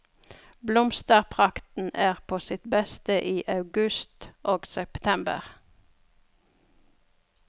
Blomsterprakten er på sitt beste i august og september.